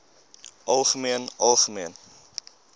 algemeen algemeen